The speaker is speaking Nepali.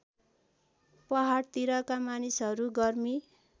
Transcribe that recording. पहाडतिरका मानिसहरू गर्मी